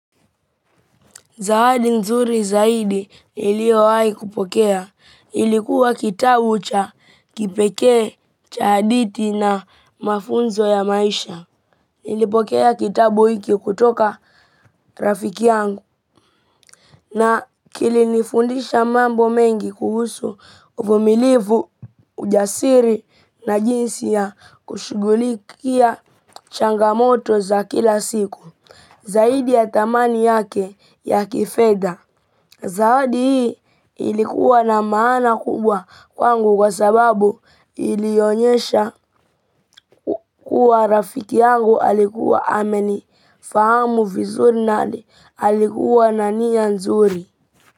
Zawadi nzuri zaidi niliyowahi kupokea. Ilikuwa kitabu cha pekee, cha hadithi na mafunzo ya maisha. Nilipokea kitabu hiki kutoka rafiki yangu. Na kilinifundisha mambo mengi kuhusu uvumilivu, ujasiri na jinsi ya kushughulikia changamoto za kila siku. Zaidi ya thamani yake ya kifedha. Zawadi hii ilikuwa na maana kubwa kwangu kwa sababu ilionyesha kuwa rafiki yangu alikuwa ameni. Fahamu vizuri na alikuwa na nia nzuri.